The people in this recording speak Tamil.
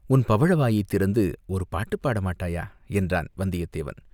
உன் பவழ வாயைத் திறந்து ஒரு பாட்டுப் பாட மாட்டாயா?" என்றான் வந்தியத்தேவன்.